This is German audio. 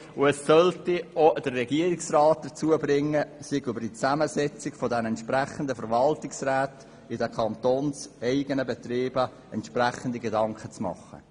Die Vorstösse sollen auch den Regierungsrat dazu bringen, sich über die Zusammensetzung der Verwaltungsräte in den kantonseigenen Betrieben entsprechende Gedanken zu machen.